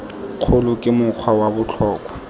kgolo ke mokgwa wa botlhokwa